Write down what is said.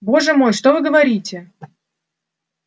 боже мой что вы говорите